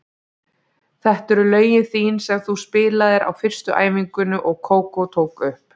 Þetta eru lögin þín sem þú spilaðir á fyrstu æfingunni og Kókó tók upp.